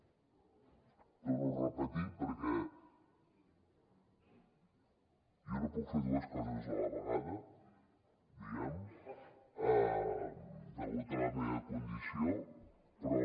ho torno a repetir perquè jo no puc fer dues coses a la vegada diguem ne degut a la meva condició però